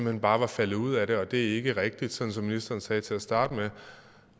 hen bare var faldet ud af det og det er ikke rigtigt sådan som ministeren sagde til at starte med